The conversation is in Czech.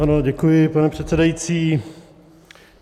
Ano, děkuji, pane předsedající.